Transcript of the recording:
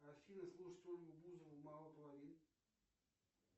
афина слушать ольгу бузову мало половин